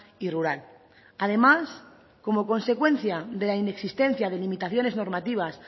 y rural además como consecuencia de la inexistencia de limitaciones normativas